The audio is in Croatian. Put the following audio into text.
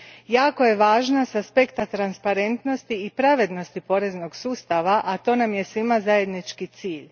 Jako je važna s aspekta transparentnosti i pravednosti poreznog sustava, a to nam je svima zajednički cilj.